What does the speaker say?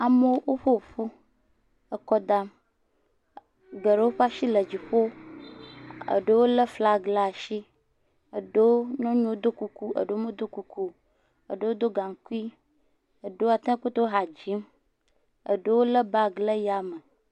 Amewo ƒoƒu akɔ dam, geɖewo ƒe asi le dziƒo eɖewo le flagi ɖe asi, aɖewo nyɔnuwo do kuku, aɖewo medo kuku, aɖewo do gaŋkui, aɖewo do atakpui ha dzim, aɖewo le bagi ɖe yame.